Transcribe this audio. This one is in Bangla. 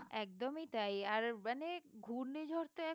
একদমই তাই আর মানে ঘূর্ণিঝড় তো এখন